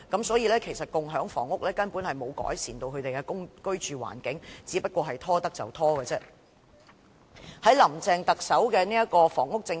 所以，共享房屋根本沒有改善他們的居住環境，只不過是政府能拖延便拖延的做法。